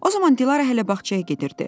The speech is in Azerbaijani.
O zaman Dilarə hələ bağçaya gedirdi.